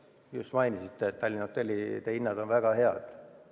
Just mainisite, et Tallinna hotellide hinnad on väga head.